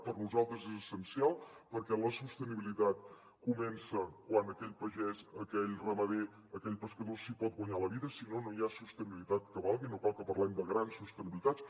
per nosaltres és essencial perquè la sostenibilitat comença quan aquell pagès aquell ramader aquell pescador s’hi pot guanyar la vida si no no hi ha sostenibilitat que valgui no cal que parlem de grans sostenibilitats